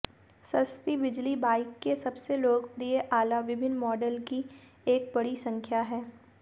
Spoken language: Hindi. सस्ती बिजली बाइक के सबसे लोकप्रिय आला विभिन्न मॉडल की एक बड़ी संख्या है